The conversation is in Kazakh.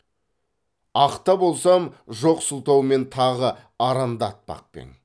ақ та болсам жоқ сылтаумен тағы арандатпақ пең